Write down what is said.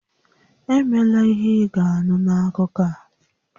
Emela ihe ị ga-anụ n'akụkọ a!